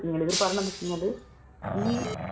ഇവര് പറഞ്ഞത് എന്താണെന്നു വെച്ച് കഴിഞ്ഞാൽ ഈ